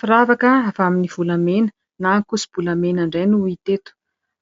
Firavaka avy amin'ny volamena na ankoso-bolamena indray no hita eto,